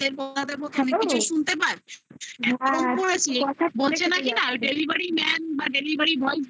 hello ping